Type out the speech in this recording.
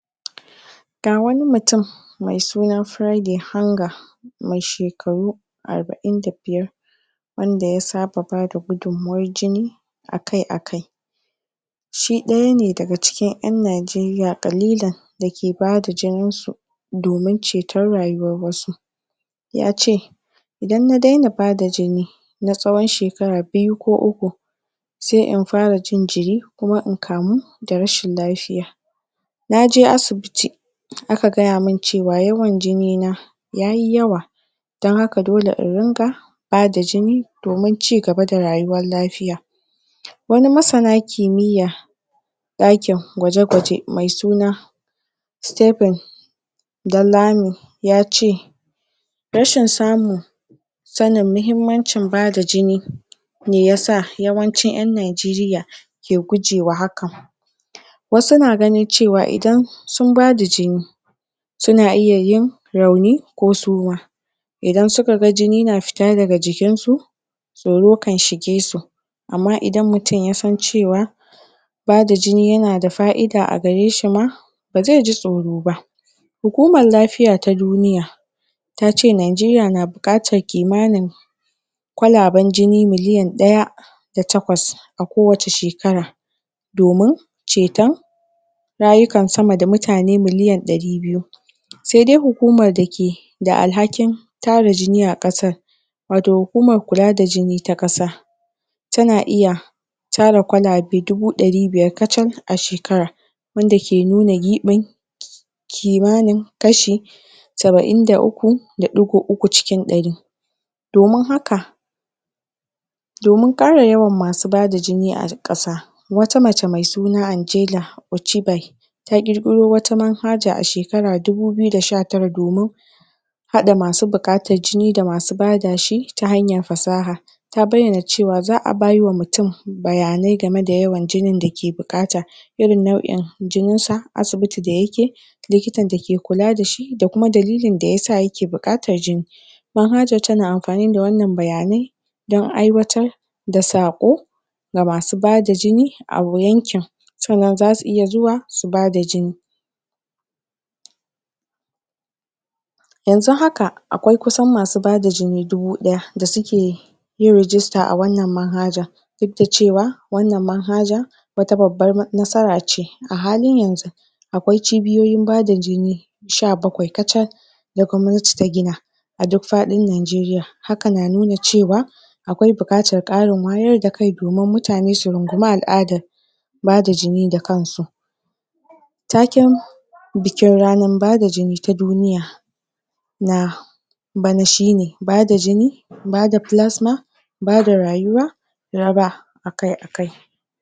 ga wani mutun mai suna friday hunger mai shekaru arbain da biyar wanda ya saba bada gudunmawan jini akai akai shi dayane daga cikin yan Nigeria Kalilan da ke bada jinin su domin ceto rayuwan wasu yace idan na daina bada jini na tsawon shekara biyu ko uku sai na fara jin jiri kuma na kamu in kamu da rashin lafiya na je asibiti aka gayamun cewa yawan jini na yayi yawa don haka dole in rinka bada jini domin ci gaba da rayuwan lafiya wani masana kimiya dakin kwaje kwaje mai suna steven Danlami yace rashin samun mahimmacin bada jini shi yasa yawan cin yan Nigeria ke gujewa hakan wasu na gani cewa idan sun bada jini suna iya yin rauni ko suma idan suka ga jini na fita daga jikin su tsoro kan shige su amma idan nmutun yasan cewa bada jini yana da faida a gareshi ma ba zai ji tsoroba hukuman lafiya ta duniya tace Nigeria na bukatan kimanin kwalaban jini miliyon daya da takwas a kowacce shekara domin ceton rayukan mutane sama da milliyon dari biyu saidai hukuman dake da alhakin tara jini a kasar wato hukuman kula da jini ta kasa tana iya tara kwalabe dubu dari biyar katsal a shekara wanda ke nuna gubin kimanin kashi sabain da uku da digo uku cikin dari domin haka domin kara yawan masu bada jini a kasa wata mace mai suna angela ochibal ta kirkiro wata man haja a shekara dubu biyu da sha tara domin hada masu bukatan jini da masu badashi ta hanyan fasaha ta baiyana cewa za a baiwa mutun bayanan game da yawan jinin da yake bukata irin nauin jinin sa asibiti da yake likita da ke kula dashi da kuma dalilin da yasa yake bukatan jini man hajan tana anfani da wan nan baya nai dan aiwatar da sako ga masu bada jini a yankin san nan zasu iya zuwa su bada jini yan zu haka akwai kusan masu bada jini dubu daya da suke yin register a wan nan manhajan dudda cewa wan nan manhajan wata babban nasarace a halin yanzu akwai cibiyin bada jini, sha bakwai, kacal da kwannati ta gina a duk fadin Nigeria haka na nuna cewa akwai bukata wayar da kai domin mutane su rungumi al'adan bada jini da kansu taken bikin ranan bada jini ta duniya na bana shine bada jini bada plasma bada rayuwa raba akai akai